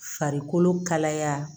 Farikolo kalaya